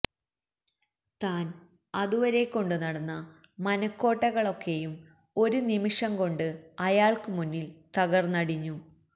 താൻ അതുവരെ കൊണ്ടുനടന്ന മനക്കോട്ടകളൊക്കെയും ഒരു നിമിഷം കൊണ്ട് അയാൾക്കുമുന്നിൽ തകർന്നടിഞ്ഞു